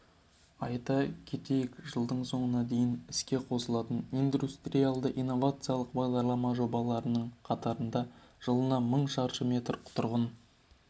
айта кетейік жылдың соңына дейін іске қосылатын индустриялды-инновациялық бағдарлама жобаларының қатарында жылына мың шаршы метр тұрғын